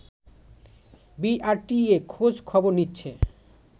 BRTA খোঁজ খবর নিচ্ছে